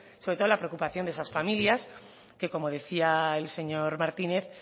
sobre todo la preocupación de esas familias que como decía el señor martínez